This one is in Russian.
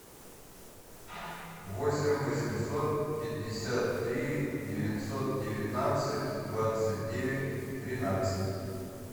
восемь восемьсот пятьдесят три девятьсот девятнадцать двадцать девять тринадцать